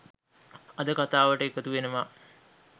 අද කථාවට එකතු වෙනවා.